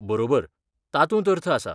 बरोबर! तातूंत अर्थ आसा.